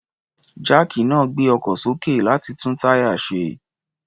Jáàkì náà ń gbé ọkọ̀ sókè, láti tún táyà ṣe.